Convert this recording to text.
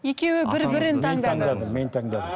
екеуі бір бірін таңдады мен таңдадым